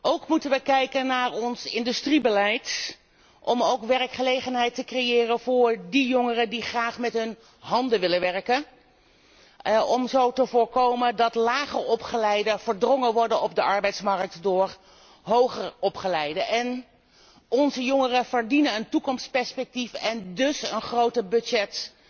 Ook moeten wij kijken naar ons industriebeleid om werkgelegenheid te creëren voor jongeren die graag met hun handen willen werken, om zo te voorkomen dat lager opgeleiden op de arbeidsmarkt verdrongen worden door hoger opgeleiden. Onze jongeren verdienen een toekomstperspectief en dus een groter budget